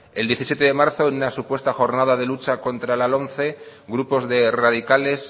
el diecisiete de marzo en una supuesta jornada de lucha contra la lomce grupos de radicales